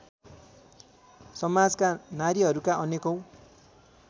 समाजका नारीहरूका अनेकौँ